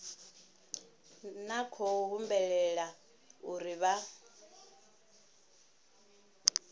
na khou humbulela uri vha